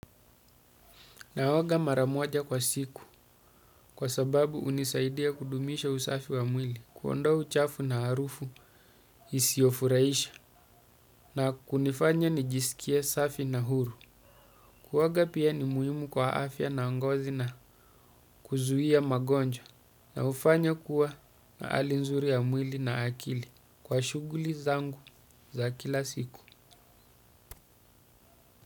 Na woga maramoja kwa siku kwa sababu unisaidia kudumisha usafi wa mwili kuwondoa uchafu na arufu isiofuraisha na kunifanya nijisikie safi na huru. Kuwoga pia ni muhimu kwa afya na angozi na kuzuhia magonjwa na ufanya kuwa na alinzuri ya mwili na akili kwa shuguli zangu za kila siku.